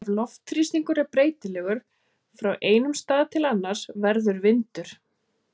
Ef loftþrýstingur er breytilegur frá einum stað til annars verður vindur.